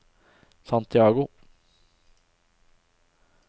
Santiago